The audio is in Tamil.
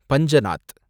பஞ்சநாத்